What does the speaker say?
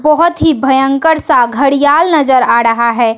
बहोत ही भयंकर सा घड़ीयाल नजर आ रहा है।